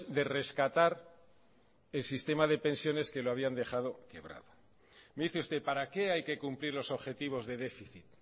de rescatar el sistema de pensiones que lo habían dejado me dice usted para qué hay que cumplir los objetivos de déficit